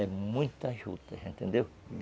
É muitas jutas, entendeu?